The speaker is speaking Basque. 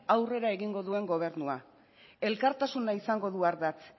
aurrera egingo duen gobernua elkartasuna izango du ardatz